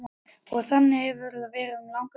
Og þannig hefur það verið um langa hríð.